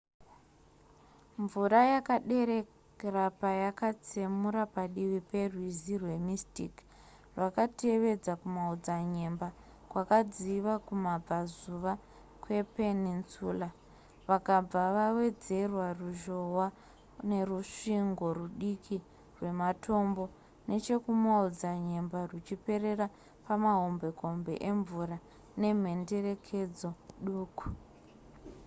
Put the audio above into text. mvura yakaderera payakatsemura padivi perwizi rwemystic rwakatevedza kumaodzanyemba kwakadziva kumabvazuva kwepeninsula vakabva vawedzera ruzhohwa nerusvingo rudiki rwematombo nechekumaodzanyemba ruchiperera pamahombekombe emvura nemhenderekedzo duku